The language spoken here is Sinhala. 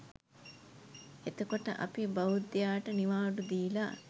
එතකොට අපි බෞද්ධයාට නිවාඩු දීලා